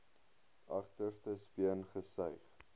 agterste speen gesuig